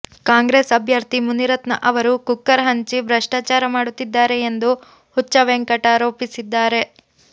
ಕಾಂಗ್ರೆಸ್ ಅಭ್ಯರ್ಥಿ ಮುನಿರತ್ನ ಅವರು ಕುಕ್ಕರ್ ಹಂಚಿ ಭ್ರಷ್ಟಾಚಾರ ಮಾಡುತ್ತಿದ್ದಾರೆ ಎಂದು ಹುಚ್ಚ ವೆಂಕಟ್ ಆರೋಪಿಸಿದ್ದಾರೆ